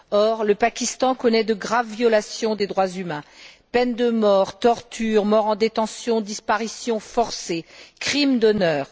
Or, le Pakistan connaît de graves violations des droits humains peine de mort, torture, morts en détention, disparitions forcées, crimes d'honneur.